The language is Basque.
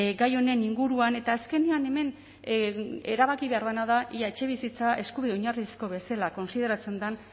gai honen inguruan eta azkenean hemen erabaki behar dena da etxebizitza eskubide oinarrizko bezala kontsideratzen den